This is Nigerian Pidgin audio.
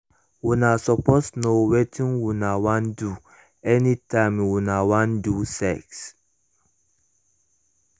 una suppose known wetin una wan do any time una wan do sex